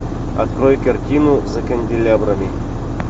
открой картину за канделябрами